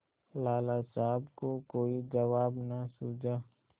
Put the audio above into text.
लाला साहब को कोई जवाब न सूझा